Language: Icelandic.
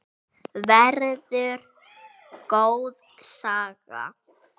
Verður góð saga.